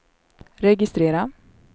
registrera